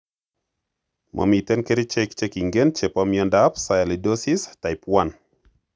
Momiten kerichek chekingen chepo miondap Sialidosis type I?